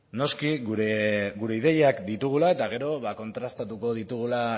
noski gure ideiak ditugula eta gero ba kontrastatuko ditugula